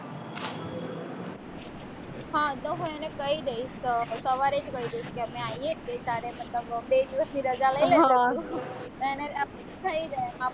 હા તો હું એને કઈ દયસ આ સવારે જ કઈ દઈશ કે અમે આઇયે છે તારે મતલબ બે દિવસની રજા લઇ લેજે